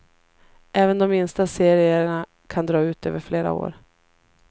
Även de minsta serierna kan dra ut över flera år.